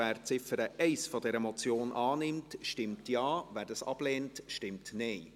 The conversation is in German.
Wer die Ziffer 1 dieser Motion annimmt, stimmt Ja, wer dies ablehnt, stimmt Nein.